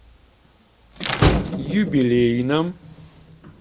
юбилейном